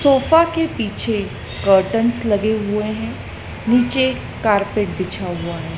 Sofa के पीछे curtains लगे हुए है नीचे कार्पेट बिछा हुआ है।